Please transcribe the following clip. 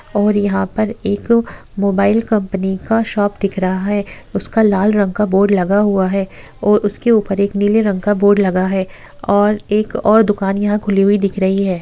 और यहाँ पर एक मोबाईल कंपनी का शॉप दिख रहा है उसका लाल रंग का बोर्ड लगा हुआ है और उसके ऊपर एक और नीले रंग का बोर्ड लगा है और एक और दुकान यहा खुली हुई दिख रही है।